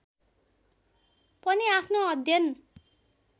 पनि आफ्नो अध्ययन